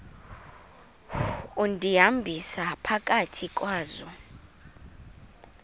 undihambisa phakathi kwazo